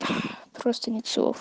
просто нет слов